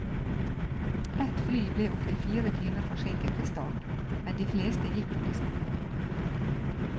Ett fly ble opptil fire timer forsinket ved start, men de fleste gikk når de skulle.